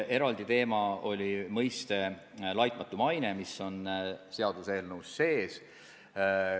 Eraldi teema oli mõiste "laitmatu maine", mis on seaduseelnõus sees.